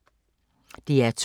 DR2